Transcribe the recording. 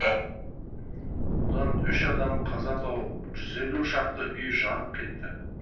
адам үш адам қаза тауып жүз елу шақты үй жанып кет